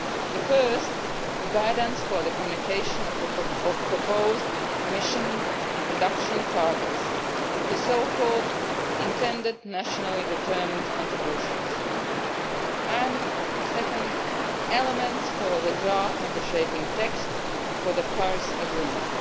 The first is guidance for the communication of proposed emission reduction targets, the so called intended nationally determined contributions', and the second is the preparation of elements for the draft negotiating text for the Paris agreement.